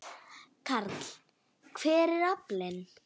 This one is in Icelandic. Karl: Hver er aflinn?